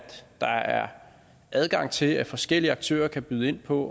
der er adgang til at forskellige aktører kan byde ind på